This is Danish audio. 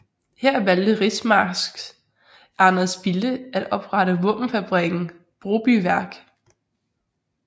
Her valgte rigsmarsk Anders Bille at oprette våbenfabrikken Brobyværk